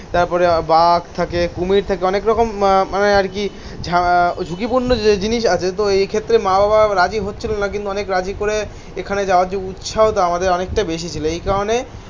তারপরে বাঘ থাকে, কুমির থাকে অনেক রকম মানে আর কি. আহ ঝুঁকিপূর্ণ যে জিনিস আছে. তো এক্ষেত্রে মা বাবা রাজি হচ্ছিল না. কিন্তু অনেক রাজি করে এখানে যাওয়ার যে উৎসাহটা আমাদের অনেকটা বেশি ছিল এই কারণে